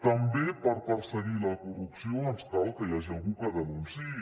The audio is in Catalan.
també per perseguir la corrupció ens cal que hi hagi algú que denunciï